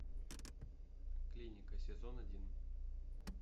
клиника сезон один